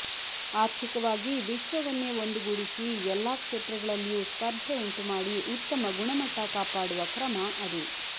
ಆರ್ಥಿಕವಾಗಿ ವಿಶ್ವವನ್ನೇ ಒಂದುಗೂಡಿಸಿ ಎಲ್ಲಾ ಕ್ಷೇತ್ರಗಳಲ್ಲಿಯೂ ಸ್ಪರ್ಧೆ ಉಂಟುಮಾಡಿ ಉತ್ತಮ ಗುಣಮಟ್ಟ ಕಾಪಾಡುವ ಕ್ರಮ ಅದು